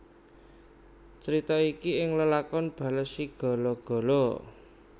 Crita iki ing lakon Balesigalagala